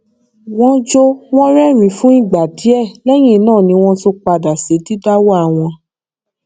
wọn jọ wọn rérìnín fún ìgbà díẹ lẹyìn náà ni wọn tún padà sí didáwà wọn